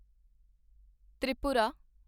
Tripura